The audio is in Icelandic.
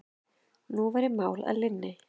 Nú væri mál að linni.